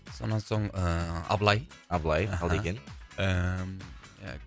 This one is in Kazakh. сонан соң ы абылай абылай алдыген ыыы